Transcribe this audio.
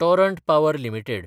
Torrent Power limited